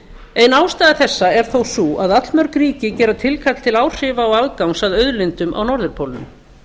ein ástæða þessa er þó sú að allmörg ríki gera tilkall til áhrifa og aðgangs að auðlindum á norðurpólnum